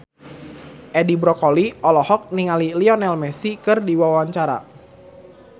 Edi Brokoli olohok ningali Lionel Messi keur diwawancara